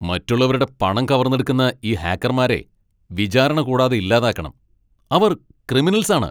മറ്റുള്ളവരുടെ പണം കവർന്നെടുക്കുന്ന ഈ ഹാക്കർമാരെ വിചാരണ കൂടാതെ ഇല്ലാതാക്കണം. അവർ ക്രിമിനൽസാണ്.